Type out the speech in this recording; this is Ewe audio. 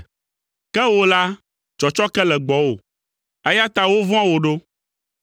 Ke wò la, tsɔtsɔke le gbɔwò, eya ta wovɔ̃a wò ɖo.